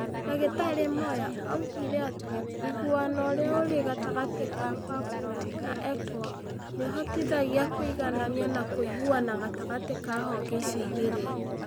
Ndagĩtarĩ Moyo oigire atĩ ũiguano ũrĩa ũrĩ gatagatĩ ka PAPU na EACO nĩ ũhotithagia kũiganania na kũiguana gatagatĩ ka honge icio igĩrĩ.